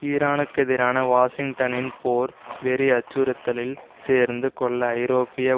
ஈரானுக்கெதிரான வாஷிங்டனின் போர் வெறி அச்சுறுத்தலில் சேர்ந்து கொள்ள ஐரோப்பிய